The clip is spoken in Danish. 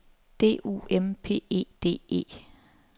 D U M P E D E